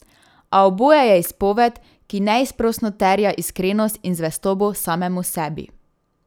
A oboje je izpoved, ki neizprosno terja iskrenost in zvestobo samemu sebi.